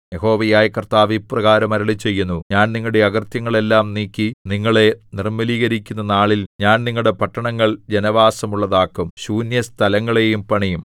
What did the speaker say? യഹോവയായ കർത്താവ് ഇപ്രകാരം അരുളിച്ചെയ്യുന്നു ഞാൻ നിങ്ങളുടെ അകൃത്യങ്ങളെല്ലാം നീക്കി നിങ്ങളെ നിർമ്മലീകരിക്കുന്ന നാളിൽ ഞാൻ നിങ്ങളുടെ പട്ടണങ്ങൾ ജനവാസമുള്ളതാക്കും ശൂന്യസ്ഥലങ്ങളെയും പണിയും